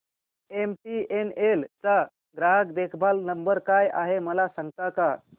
MTNL चा ग्राहक देखभाल नंबर काय आहे मला सांगता का